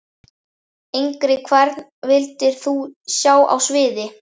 Engri Hvern vildir þú sjá á sviði?